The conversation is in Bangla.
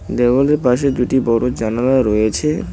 দেওয়ালে পাশে দুটি বড়ো জানালা রয়েছে।